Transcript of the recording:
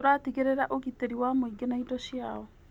Tũratigĩrĩra ũgitĩri wa mũingĩ na indo ciao.